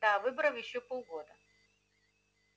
до выборов ещё полгода